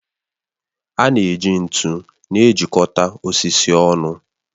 A na-eji ntu na-ejikọta osisi ọnụ